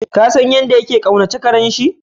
Ka San yadda ya kaunace karen shi?